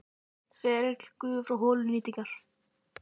Ferill gufu frá holu til nýtingar